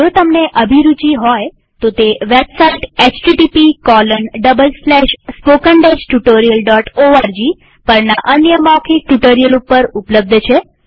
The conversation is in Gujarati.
જો તમને અભિરુચિ હોય તોતે વેબસાઈટ httpspoken tutorialorg પરના અન્ય મૌખિક ટ્યુ્ટોરીઅલ ઉપર ઉપલબ્ધ છે